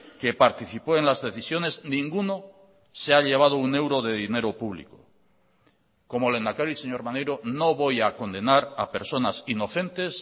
que participó en las decisiones ninguno se ha llevado un euro de dinero público como lehendakari señor maneiro no voy a condenar a personas inocentes